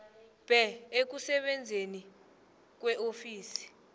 bhe ekusebenzeni kweofisi